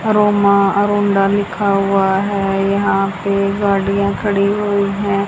लिखा हुआ है यहां पे गाड़ियां खड़ी हुई हैं।